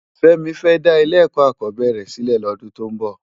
Femi fè dá ilé èkò ákòbèrè silè lòdún tó n bò